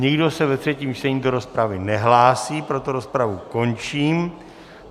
Nikdo se ve třetím čtení do rozpravy nehlásí, proto rozpravu končím.